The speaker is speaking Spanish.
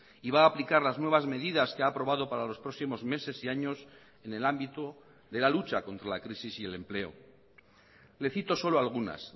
y va a aplicar las nuevas medidas que ha aprobado para los próximos meses y años en el ámbito de la lucha contra la crisis y el empleo le cito solo algunas